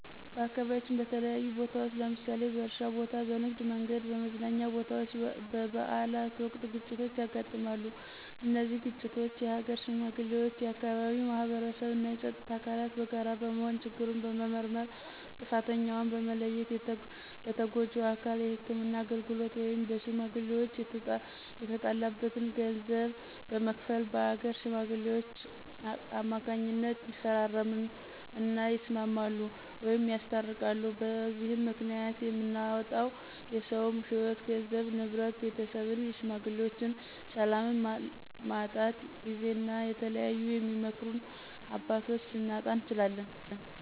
በአካባቢያችን በተለያዩ ቦታዎች ለምሳሌ በእርሻ ቦታ፣ በንግድ፣ በመንገድ፣ በመዝናኛ ቦታወች፣ በበአላት ወቅት ግጭቶች ያጋጥማሉ። እነዚህን ግጭቶች የሀገር ሽማግሌዎች፣ የአካባቢው ማህበረሰብ እና የፀጥታ አካላት በጋራ በመሆን ችግሩን በመመርመር ጥፍተኛውን በመለየት ለተጎጁ አካል የህክምና አገልግሎት ወይም በሽሜግሌወች የተጣለበትን ገንዘብ በመክፈል በአገር ሽማግሌወች ከማካኝነት ይፈራረም እና ይስማማሉ ወይም ያስታርቃሉ። በዚህም ምክኒያት የምናጣው የሰውም ህይዎት ገንዘብ፣ ንብረት፣ ቤተሰብን የሽማግሌዎችን፣ ሰላምን ማጣት ጊዜን እና የተለያዩ የሚመክሩን አባቶች ልናጣ እንችላለን።